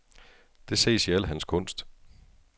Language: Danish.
Det ses i al hans kunst.